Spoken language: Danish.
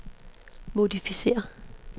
modificér